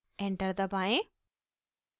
enter दबाएं